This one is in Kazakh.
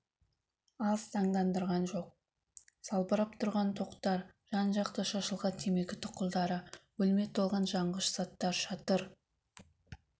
аз таңдандырған жоқ салбырап тұрған тоқтар жан-жақта шашылған темекі тұқылдары бөлме толған жанғыш заттар шатыр